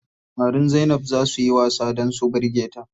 Samarin Zainab zaa suyi wasa dan su birge ta.